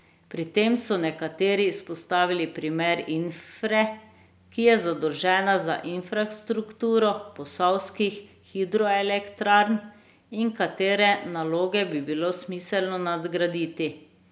Pri tem so nekateri izpostavili primer Infre, ki je zadolžena za infrastrukturo posavskih hidroelektrarn, in katere naloge bi bilo smiselno nadgraditi.